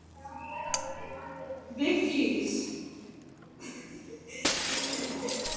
Viglís, hvað er opið lengi á laugardaginn?